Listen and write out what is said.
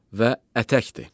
və ətəkdir.